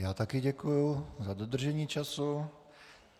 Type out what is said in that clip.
Já také děkuji za dodržení času.